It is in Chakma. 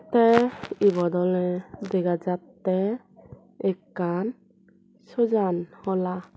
te obot ole dega jatte ekkan sujan hola.